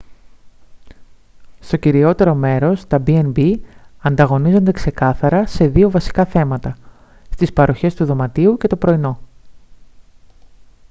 στο κυριότερο μέρος τα b&b ανταγωνίζονται ξεκάθαρα σε δύο βασικά θέματα στις παροχές του δωματίου και το πρωινό